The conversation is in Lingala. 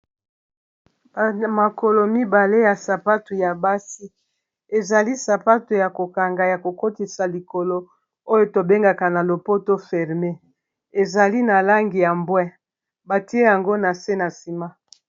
makolo mibale ya sapato ya basi ezali sapatu ya kokanga ya kokotisa likolo oyo tobengaka na lopoto ferme ezali na langi ya mbwi batie yango na se na nsima